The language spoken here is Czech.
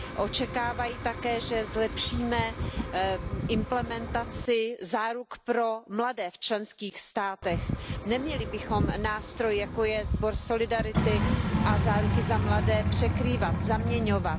Očekávají také, že zlepšíme implementaci záruk pro mladé v členských státech, neměli bychom nástroj, jako je Evropský sbor solidarity, a záruky za mladé překrývat, zaměňovat.